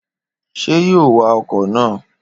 Ṣé yóò wá ọkọ na?